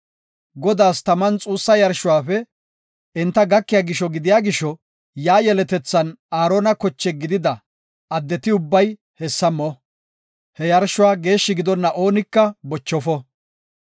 Godaas taman xuussa yarshuwafe enta gakiya gisho gidiya gisho yaa yeletethan Aarona koche gidida addeti ubbay hessa mo. He yarshuwa, geeshshi gidonna oonika bochofo.